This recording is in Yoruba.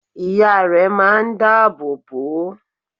Ìya rẹ máa n dá àbò bò o